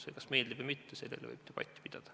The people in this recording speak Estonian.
See kas meeldib või mitte, selle üle võib debatti pidada.